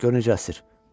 Gör necə əsir.